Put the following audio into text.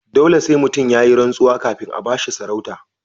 Dole sai mutum yayi rantsuwa kafin a bashi sarauta.